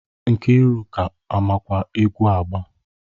Nkiruka ọ makwa egwu agba?